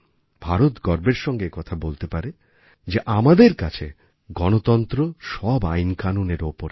ভারত গর্বের সঙ্গে একথা বলতে পারে যে আমাদের কাছে গণতন্ত্র সব আইনকানুনের ওপরে